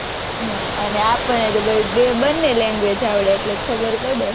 હમ અને આપણને તો બંને language આવડે એટલે ખબર પડે,